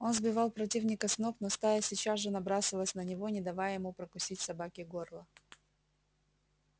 он сбивал противника с ног но стая сейчас же набрасывалась на него не давая ему прокусить собаке горло